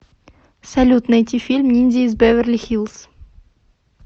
салют найти фильм ниндзя из беверли хиллз